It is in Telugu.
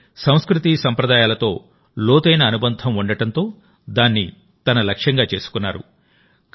కానీ సంస్కృతీ సంప్రదాయాలతో లోతైన అనుబంధం ఉండడంతో దాన్ని తన లక్ష్యంగా చేసుకున్నారు